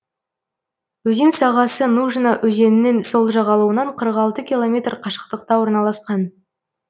өзен сағасы нужна өзенінің сол жағалауынан қырық алты километр қашықтықта орналасқан